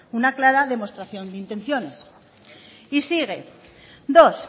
una clara demostración de intenciones y sigue dos